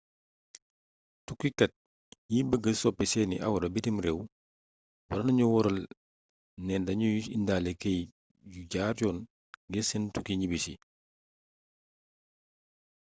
tukkikat yi bëgg soppi seeni awra bitim rééw warna nu wóoral ne dañuy indaale keyt yu jaar yoon ngir seen tukki ñibbisi